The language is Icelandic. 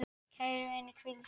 Kæri vinur, hvíl í friði.